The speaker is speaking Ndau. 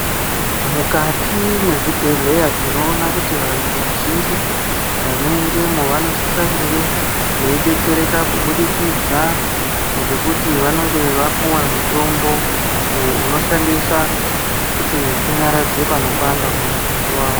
Mukati mwezvibhehleya tinoona kuti vantu vazhinji vanoendamo vanosisa kunge veidetsereka kubudikidza ngekuti vanenge vapuwa mutombo uyo unoshandiswa kuti unyaradze panopanda mumutumbi wavo.